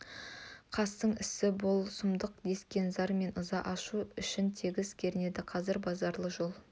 қастың ісі ғой бұл сұмдық дескен зар мен ыза ауыл ішін тегіс кернеді қазір базаралы жол